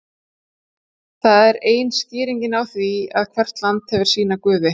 það er ein skýringin á því að hvert land hefur sína guði